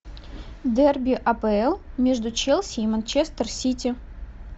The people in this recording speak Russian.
дерби апл между челси и манчестер сити